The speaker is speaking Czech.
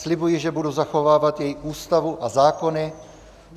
Slibuji, že budu zachovávat její ústavu a zákony.